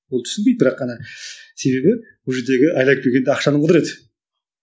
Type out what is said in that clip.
ол түсінбейді бірақ ана себебі ол жердегі айналып келгенде ақшаның құдіреті